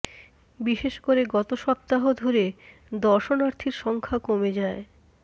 বিশেষ করে গত সপ্তাহ ধরে দর্শনার্থীর সংখ্যা কমে যায়